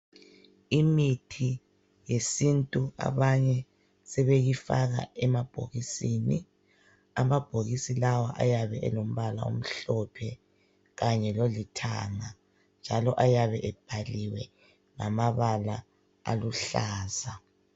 Imithi yesintu abanye sebeyi faka emabhokisini. Amabhokisi lawa ayabe elombala omhlophe Kanye lolithanga. Njalo ayabe ebhaliwe ngamabala aluhlaza.